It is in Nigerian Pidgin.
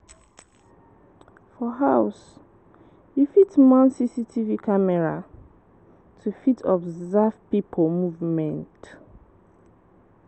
For house, you fit mount CCTV camera to fit observe pipo movement